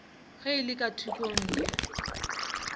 ge e le ka thokongya